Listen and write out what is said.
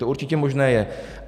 To určitě možné je.